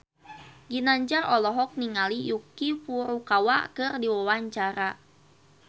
Ginanjar olohok ningali Yuki Furukawa keur diwawancara